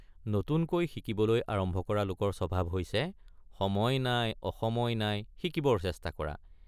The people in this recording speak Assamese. নতুনকৈ শিকিবলৈ আৰম্ভ কৰা লোকৰ স্বভাৱ হৈছে সময় নাই অসময় নাই শিকিবৰ চেষ্টা কৰা।